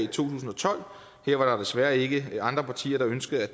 tusind og tolv her var der desværre ikke andre partier der ønskede